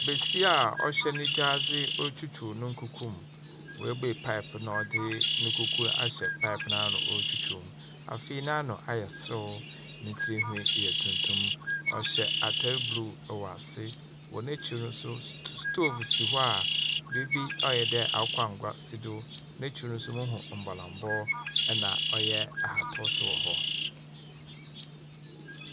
Besia a ɔhye ne gyadze ɔretwitwiw no nkuku mu. Oebuei pipe no na ɔdze no nkuku no ahyɛ pipe no ano ɔretwitwiw mu. Afei n'ano ayɛ serew. Ne tsirnhwi yɛ tuntum. Ɔhyɛ atar ble wɔ ase. Wɔ n'ekyir no nso. Stove si hɔ a beebi ayɛ dɛ akokɔ angua si do. N'ekyir no nso mohu mbolambɔ na ɔyɛ ahataw nso wɔ hɔ.